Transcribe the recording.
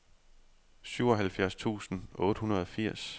syvoghalvfjerds tusind otte hundrede og firs